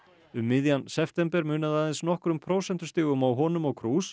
um miðjan september munaði aðeins nokkrum prósentustigum á honum og